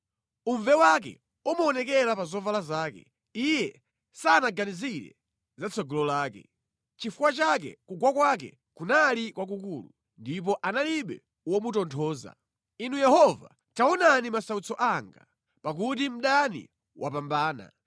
Uve wake umaonekera pa zovala zake; iye sanaganizire za tsogolo lake. Nʼchifukwa chake kugwa kwake kunali kwakukulu; ndipo analibe womutonthoza. “Inu Yehova, taonani masautso anga, pakuti mdani wapambana.”